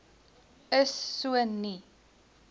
is so nie